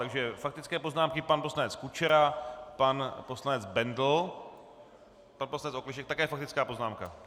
Takže faktické poznámky: pan poslanec Kučera, pan poslanec Bendl, pan poslanec Okleštěk - také faktická poznámka?